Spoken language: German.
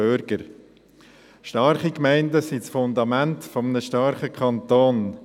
Starke Gemeinden sind das Fundament für einen starken Kanton.